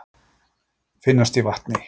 Finnast í vatni.